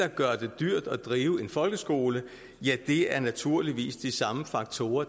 gør det dyrt at drive en folkeskole ja det er naturligvis de samme faktorer